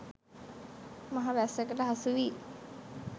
මහ වැස්සකට හසුවී